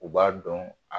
U b'a dɔn a